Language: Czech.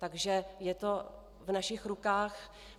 Takže je to v našich rukách.